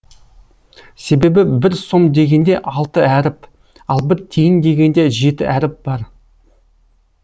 себебі бір сом дегенде алты әріп ал бір тиын дегенде жеті әріп бар